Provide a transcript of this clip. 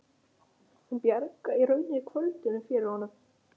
Hún bjargaði í rauninni kvöldinu fyrir honum.